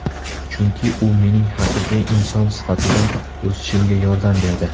Chunki, u mening haqiqiy inson sifatida o‘sishimga yordam berdi”.